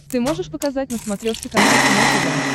ты можешь показать на смотрешке канал кино тв